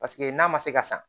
Paseke n'a ma se ka san